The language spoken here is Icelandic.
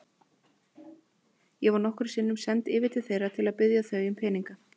Ég var nokkrum sinnum send yfir til þeirra til að biðja þau um peninga.